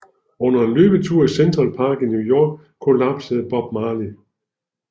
Under en løbetur i Central Park i New York kollapsede Bob Marley